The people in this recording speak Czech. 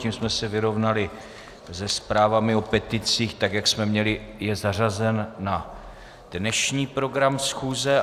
Tím jsme se vyrovnali se zprávami o peticích tak, jak jsme měli je zařazeny na dnešní program schůze.